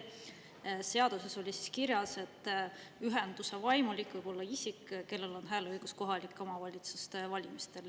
Seaduses oli kirjas, et ühenduse vaimulik võib olla isik, kellel on hääleõigus kohalike omavalitsuste valimistel.